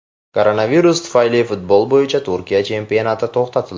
Koronavirus tufayli futbol bo‘yicha Turkiya chempionati to‘xtatildi.